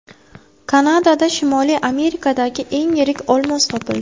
Kanadada Shimoliy Amerikadagi eng yirik olmos topildi.